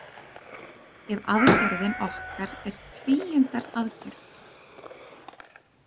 Ef aðgerðin okkar er tvíundaraðgerð.